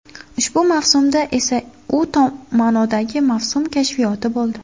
Ushbu mavsumda esa u tom ma’nodagi mavsum kashfiyoti bo‘ldi.